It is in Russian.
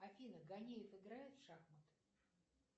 афина гонеев играет в шахматы